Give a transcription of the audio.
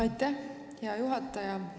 Aitäh, hea juhataja!